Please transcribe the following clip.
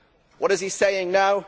What is he saying now?